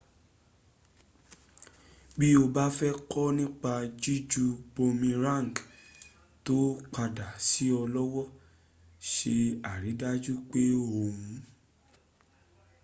bí o bá fẹ́ kọ́ nípa jíju boomerang tó padà sí ọ lọ́wọ́ se àrídájú pé o n